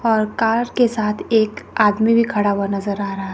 और कार के साथ एक आदमी भी खड़ा हुआ नजर आ रहा--